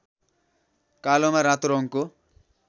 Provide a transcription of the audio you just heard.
कालोमा रातो रङको